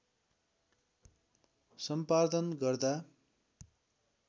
सम्पादन गर्दा